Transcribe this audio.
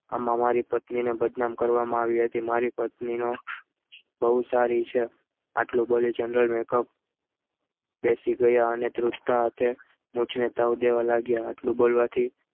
આમાં મારી પત્નીને બદનામ કરવામાં આવી હતી મારી પત્ની તો બહુ સારી છે આટલું બોલી general makeup બેસી ગયા અને ધ્રુસકા હાથે મુજને તાવ દેવા લાગ્યા એટલું બોલવાથી